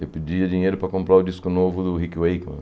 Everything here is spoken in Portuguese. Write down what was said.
Eu pedia dinheiro para comprar o disco novo do Rick Wakeman.